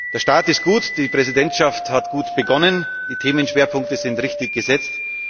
Der Start ist gut, die Präsidentschaft hat gut begonnen, die Themenschwerpunkte sind richtig gesetzt.